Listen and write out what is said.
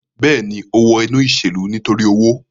Bẹẹni, o wọ inu iṣelu nitori owo